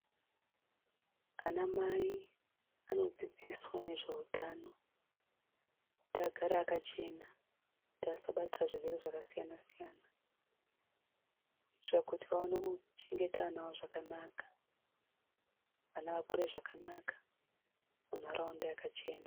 Vanamai vanodzidziswa nezveutano kuti vagare vakachena kuti vasabatira zvirwere zvakasiyana siyana kuitira kuti vaone kuchengeta vana vavo zvakanaka vana vakure zvakanaka mundaraunda yakachena.